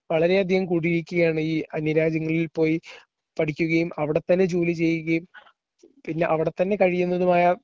വളരെയധികം കൂടിയിരിക്കുകയാണ് ഈ അന്യരാജ്യങ്ങളിൽ പോയി പോയി പഠിക്കുകയും അവിടെത്തന്നെ ജോലി ചെയ്യുകയും പിന്നെ അവിടെത്തന്നെ കഴിയുന്നതുമായ